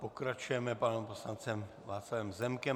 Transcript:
Pokračujeme panem poslancem Václavem Zemkem.